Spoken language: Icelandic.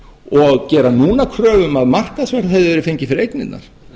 og gera núna kröfu um að markaðsverð hefði verið fengið fyrir eignirnar